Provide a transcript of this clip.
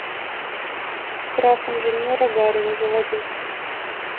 крах инженера гарина заводи